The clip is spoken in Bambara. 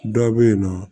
Dɔ bɛ yen nɔ